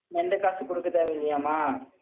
எந்த காசு கொடுக்க தேவையில்லையாம்மா?